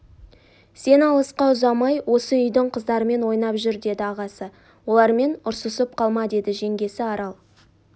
сен алысқа ұзамай осы үйдің қыздарымен ойнап жүр деді ағасы олармен ұрсысып қалма деді жеңгесі арал